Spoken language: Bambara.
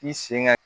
K'i sen ka